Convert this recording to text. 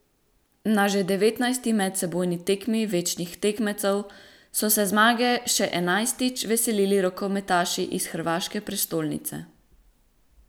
Na že devetnajsti medsebojni tekmi večnih tekmecev so se zmage še enajstič veselili rokometaši iz hrvaške prestolnice.